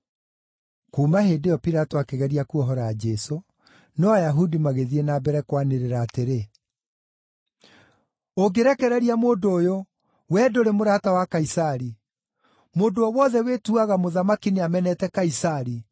Kuuma hĩndĩ ĩyo, Pilato akĩgeria kuohora Jesũ, no Ayahudi magĩthiĩ na mbere kwanĩrĩra atĩrĩ, “Ũngĩrekereria mũndũ ũyũ, wee ndũrĩ mũrata wa Kaisari. Mũndũ o wothe wĩtuaga mũthamaki nĩamenete Kaisari.”